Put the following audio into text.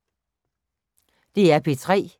DR P3